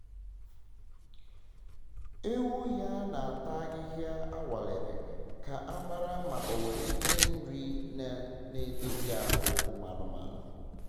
ewu ya na-ata ahịhịa anwalere ka a mara ma o nwere ihe nri na na edozi ahụ ụmụanụmanụ